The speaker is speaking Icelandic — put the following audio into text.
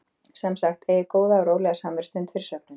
Sem sagt: Eigið góða og rólega samverustund fyrir svefninn.